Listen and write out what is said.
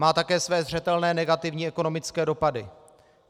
Má také své zřetelné negativní ekonomické dopady.